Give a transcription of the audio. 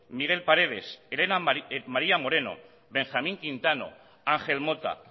miguel paredes elena maría moreno benjamín quintano ángel mota